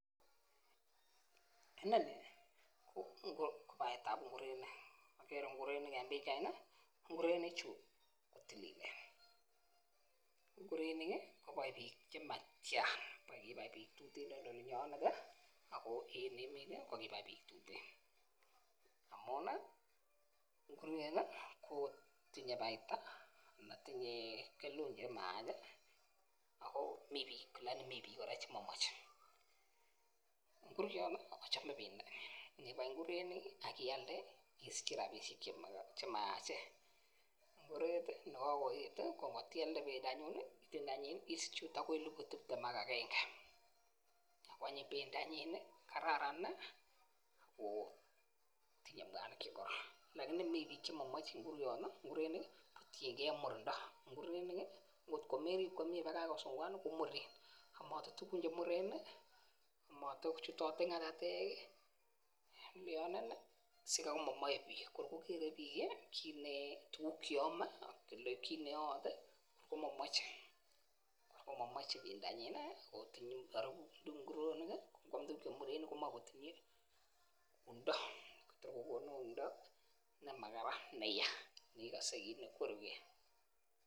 Inoni ko basetab nguronik okere nguronik en pichaini nguronik chuu kotililen, ngoroik kii konoe bik chetyan kibai bik tuten en olinyonen tii ako en emet tii ko kobai bik tuten amun nii nguruet tii kotinye baita ana tinye kelut emaya ako mii bik lakini mii bik koraa chemomoche. Nguroni ochome pendo nibai nguronik ak ilade isiche rabinik chemayachen, nguruet tii nekokoyet tii ko kotialde pendonyin nii isiche okot akoi elibu tiptem ak agenge. Kwanyin pendonyin nii kararan nii woo tinye mwanik chekororon, lakini mii bik chemomoche nguruoni ngurenik kotiyengee murindo. Ngurenik kii kotko merib komie bakosungukan nii komure omote tukun chemuten nii, omote chutoye ngatatek kii lyonen nii sikai komomii bik, kor kogere bik kit nee tukuk cheome anan kit nemoite komomoche pendonyin nii otinye orubut nguronik kii ikwam tukuk chemuren komoi kotinye sumdo your kokonu sumdo nemakaran neyaa neikose kit nekwerugee.